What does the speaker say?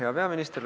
Hea peaminister!